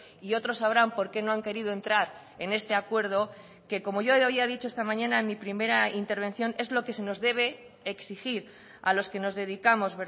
y otros sabrán por qué no han querido entrar en este acuerdo que como yo había dicho esta mañana en mi primera intervención es lo que se nos debe exigir a los que nos dedicamos